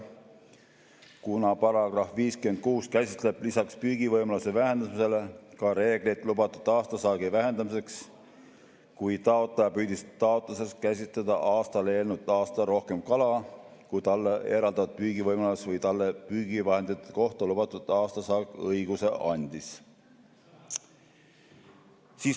Kuna § 56 käsitleb lisaks püügivõimaluse vähendamisele ka reegleid lubatud aastasaagi vähendamiseks, kui taotleja püüdis taotluses käsitletud aastale eelnenud aastal rohkem kala, kui talle eraldatud püügivõimalus või talle püügivahendite kohta lubatud aastasaak õiguse andis.